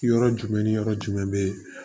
Yɔrɔ jumɛn ni yɔrɔ jumɛn bɛ